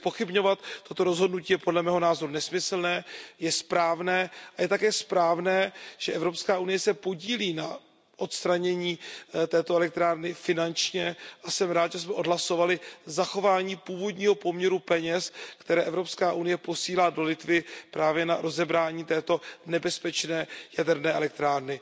Takže zpochybňovat toto rozhodnutí je podle mého názoru nesmyslné a je správné, že Evropská unie se podílí na odstranění této elektrárny finančně, a jsem rád, že jsme odhlasovali zachování původního poměru peněz, které Evropská unie posílá do Litvy právě na rozebrání této nebezpečné jaderné elektrárny.